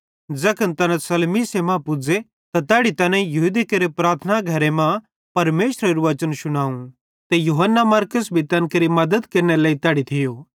ज़ैखन तैना सलमीसे मां पुज़े त तैड़ी तैना यहूदी केरे प्रार्थना घरे मां परमेशरेरू वचन शुनाव ते यूहन्ना मरकुस भी तैन केरि मद्दत केरनेरे लेइ तैड़ी थियो